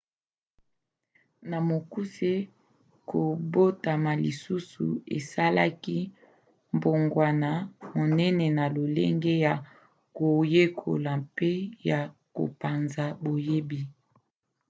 na mokuse kobotama lisusu esalaki mbongwana monene na lolenge ya koyekola mpe ya kopanza boyebi